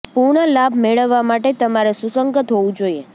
પૂર્ણ લાભ મેળવવા માટે તમારે સુસંગત હોવું જોઈએ